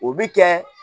O bi kɛ